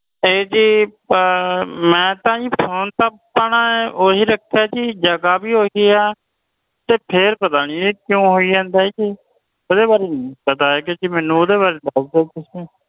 ਇਹ ਜੀ ਮੈਂ phone ਤਾਂ ਜੀ ਆਪਣਾ ਓਹੀ ਰੱਖਿਆ ਜੀ ਜਗਾਹ ਵੀ ਓਹੀ ਆ ਫੇਰ ਨੀ ਮੈਨੂੰ ਪਤਾ ਇਹ ਕਿਉਂ ਹੋਈ ਜਾਂਦਾ ਨੀ ਓਦੇ ਵਾਰੇ ਨੀ ਮੈਨੂੰ ਓਟ ਓਦੇ ਵਾਰੇ ਮੈਨੂੰ ਨਹੀਂ ਪਤਾ ਜੀ